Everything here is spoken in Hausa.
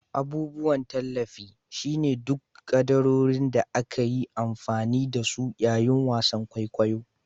Abubuwan tallafi. shine dukkan kaddarorin da aka yi amfani da su yayin wasan kwaikwayo